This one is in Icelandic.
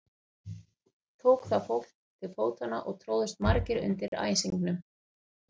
Tók þá fólk til fótanna og tróðust margir undir í æsingnum.